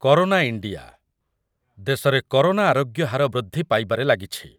Corona India, ଦେଶରେ corona ଆରୋଗ୍ୟ ହାର ବୃଦ୍ଧି ପାଇବାରେ ଲାଗିଛି।